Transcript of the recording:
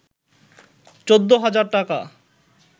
১৪ হাজার টাকা